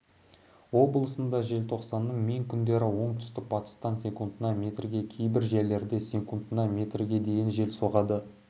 облысында желтоқсанның мен күндері оңтүстік батыстан секундына метрге кейбір жерлерде секундына метрге дейін жел соғады